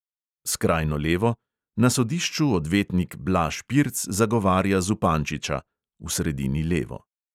Skrajno levo: na sodišču odvetnik blaž pirc zagovarja zupančiča (v sredini levo).